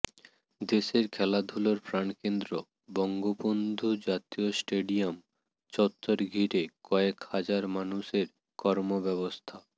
দেশের খেলাধুলার প্রাণকেন্দ্র বঙ্গবন্ধু জাতীয় স্টেডিয়াম চত্বর ঘিরে কয়েক হাজার মানুষের কর্মব্যস্ততা